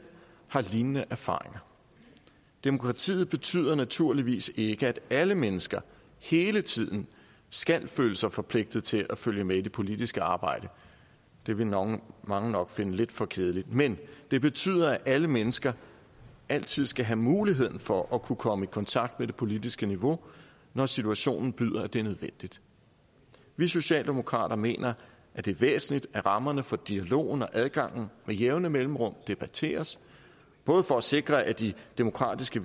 har lignende erfaringer demokratiet betyder naturligvis ikke at alle mennesker hele tiden skal føle sig forpligtet til at følge med i det politiske arbejde det ville mange mange nok finde lidt for kedeligt men det betyder at alle mennesker altid skal have muligheden for at kunne komme i kontakt med det politiske niveau når situationen byder det er nødvendigt vi socialdemokrater mener at det er væsentligt at rammerne for dialogen og adgangen med jævne mellemrum debatteres både for at sikre at de demokratiske